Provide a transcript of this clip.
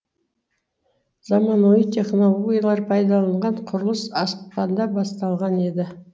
заманауи технологиялар пайдаланылған құрылыс ақпанда басталған еді